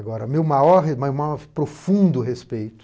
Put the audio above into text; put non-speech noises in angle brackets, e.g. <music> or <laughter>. Agora, meu maior re meu <unintelligible> profundo respeito